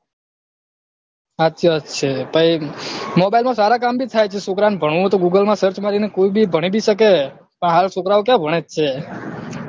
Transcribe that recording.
સાચી વાત છે પહી mobile ના સારા કમ ભી થાય છે છોકરા ને ભણવું હોય તો google માં search મારી ને ભણી ભી સકી છે હાલ છોકરાઓ ક્યાં ભણેજ છે